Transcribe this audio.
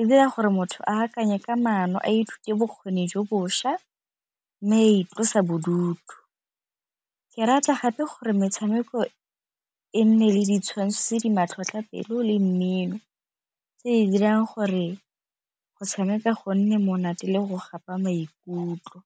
e dira gore motho a akanye ka manno a ithute bokgoni jo bošwa mme a itlosa bodutu. Ke rata gape gore metshameko e nne le ditshwantsho tse di matlhotlhotlhapelo le mmino tse di dirang gore go tshameka go nne monate le go gapa maikutlo.